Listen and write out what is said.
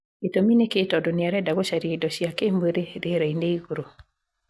Gĩtũmi nĩ kĩĩ tondũ nĩ arenda gũcaria indo cia kĩĩmwĩrĩ rĩera-inĩ igũrũ?